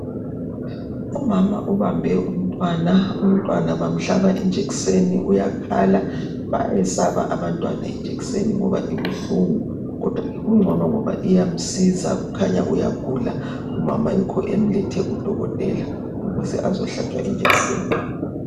Umama ubambe umntwana, umntwana bamhlaba ijekiseni uyakhala. Bayayisaba abantwana jekiseni ngoba ibuhlungu kodwa kungcono ngoba iyamsiza ukhanya uyagula umama yikho emlethe kudokotela ukuze azohlatshwa injekiseni.